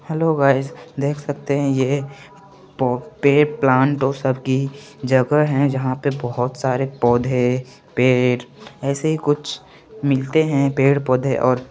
hello guys देख सकते है ये जग है जहा पर बोहोत सारे पोधे पेड़ असे कुछ मिलते है पेड़ पोधे और --